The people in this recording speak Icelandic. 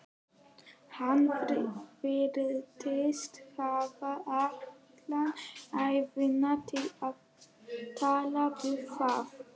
Hann virtist hafa alla ævina til að tala við þá.